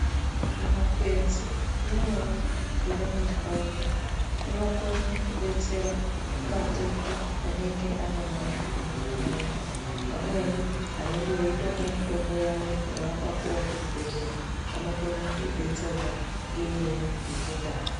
Zvimakwenzi zvimweni zviri mundaraunda zvinokona kudetsera matenda anenge ane vantu muma ndaraunda vamweni vanenge veitomwa mutombo wavo wavanenge vakapuwa kuchibhedhlera vanokona kudetserwa neimweni yechindau.